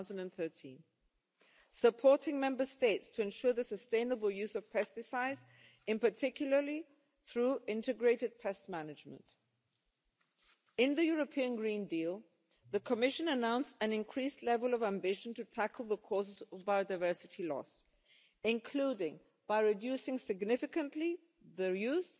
in 2013 and supporting Member States to ensure the sustainable use of pesticides, in particular through integrated pest management. In the European Green Deal, the Commission announced an increased level of ambition to tackle the causes of biodiversity loss, including by reducing significantly the